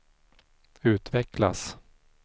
utvecklas